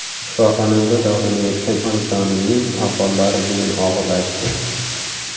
Shifoxonada davolanayotgan onajonimning ahvollari bugun og‘irlashdi.